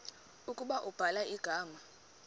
ukuba ubhala igama